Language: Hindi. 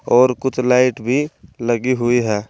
और कुछ लाइट भी लगी हुई है।